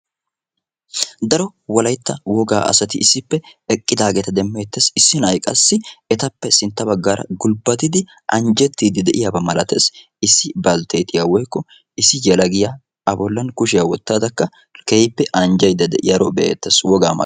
Wolaytta wogaa asatti issippe anjjetti de'iyaaba milatees. Issi yelagay qassi gulbbattiddi anjjettiyaaba milattees.